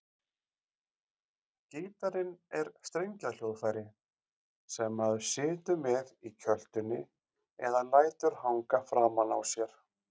Gítarinn er strengjahljóðfæri sem maður situr með í kjöltunni eða lætur hanga framan á sér.